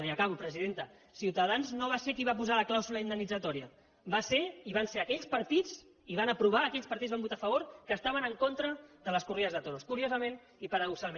i ja acabo presidenta ciutadans no va ser qui va posar la clàusula indemnitzatòria va ser i van ser aquells partits i ho van aprovar aquells partits que van votar a favor que estaven en contra de les corrides de toros curiosament i paradoxalment